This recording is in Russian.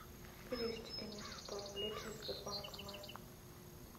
перевести денису сто рублей через сбербанк онлайн